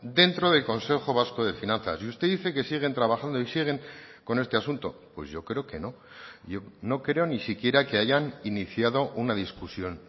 dentro del consejo vasco de finanzas y usted dice que siguen trabajando y siguen con este asunto pues yo creo que no yo no creo ni siquiera que hayan iniciado una discusión